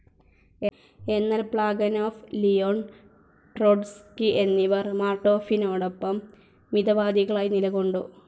എന്നാൽ Plekhanov, Leon Trotsky എന്നിവർ മാർട്ടോഫിനോടൊപ്പം മിതവാദികളായി നിലകൊണ്ടു.